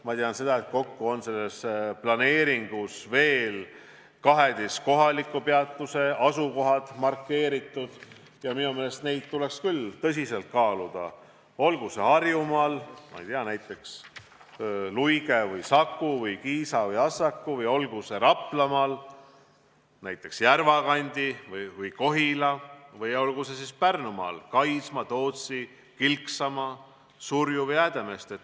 Ma tean, et kokku on selles planeeringus markeeritud veel 12 kohaliku peatuse asukohad, ja minu meelest tuleks neid tõsiselt kaaluda – olgu need Harjumaal, ma ei tea, näiteks Luige, Saku, Kiisa või Assaku, või olgu need Raplamaal, näiteks Järvakandi või Kohila, või olgu need Pärnumaal, näiteks Kaisma, Tootsi, Kilksama, Surju või Häädemeeste.